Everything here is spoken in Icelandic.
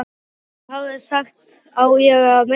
Hann hafi sagt: Á ég að meiða þig?